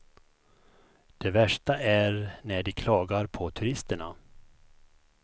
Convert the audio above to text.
Det värsta är när de klagar på turisterna.